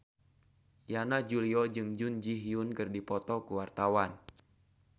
Yana Julio jeung Jun Ji Hyun keur dipoto ku wartawan